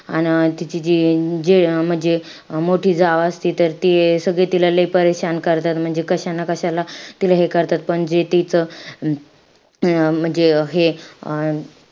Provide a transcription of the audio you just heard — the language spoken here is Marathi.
अन तिची जी जे अं म्हणजे मोठी जाव असती तर ते सगळे तिला लई करतात. म्हणजे कशा ना कशाला तिला हे करतात. पण जे तीच अं म्हणजे हे अं